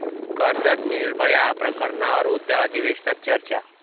कर्जत 'निर्भया' प्रकरणावर उद्या अधिवेशनात चर्चा